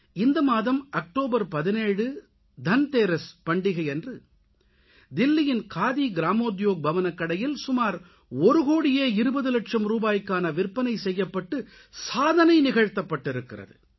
இந்த மாதம் அக்டோபர் 17 தன்தேரஸ் பண்டிகையன்று தில்லியின் காதி கிராமோத்யோக் பவன் கடையில் சுமார் ஒரு கோடியே 20 லட்சம் ரூபாய்க்கான விற்பனை செய்யப்பட்டு சாதனை நிகழ்த்தப்பட்டிருக்கிறது